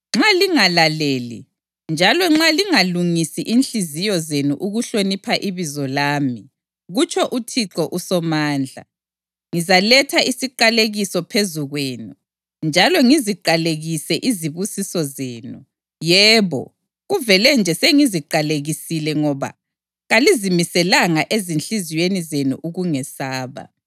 Nxa lingalaleli, njalo nxa lingalungisi inhliziyo zenu ukuhlonipha ibizo lami,” kutsho uThixo uSomandla, “ngizaletha isiqalekiso phezu kwenu, njalo ngiziqalekise izibusiso zenu. Yebo, kuvele nje sengiziqalekisile ngoba kalizimiselanga ezinhliziyweni zenu ukungesaba.